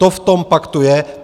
To v tom paktu je.